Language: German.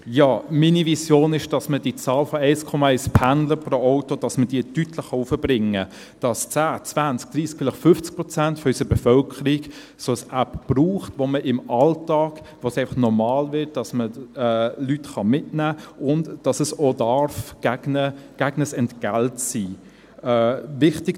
Meine Vision ist, dass man die Zahl von 1,1 Pendlern pro Auto deutlich erhöhen kann, dass 10, 20, 30, vielleicht 50 Prozent unserer Bevölkerung eine solche App verwendet, und es im Alltag einfach normal wird, dass man Leute mitnehmen kann und dass es auch gegen ein Entgelt sein kann.